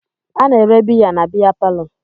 A na-ere biya na-biya parlo.